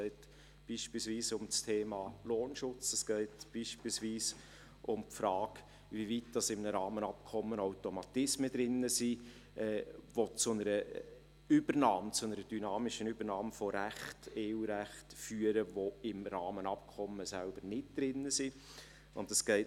Es geht beispielsweise um das Thema Lohnschutz oder um die Frage, inwieweit in einem Rahmenabkommen Automatismen enthalten sind, die zu einer dynamischen Übernahme von EU-Recht führen, das im Rahmenabkommen selbst nicht enthalten ist.